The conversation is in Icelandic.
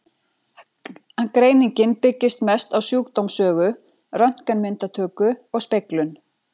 Greiningin byggist mest á sjúkdómssögu, röntgenmyndatöku og speglun.